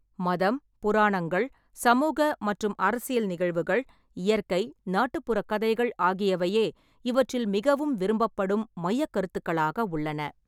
மதம், புராணங்கள், சமூக மற்றும் அரசியல் நிகழ்வுகள், இயற்கை, நாட்டுப்புறக் கதைகள் ஆகியவையே இவற்றில் மிகவும் விரும்பப்படும் மையக் கருத்துக்களாக உள்ளன.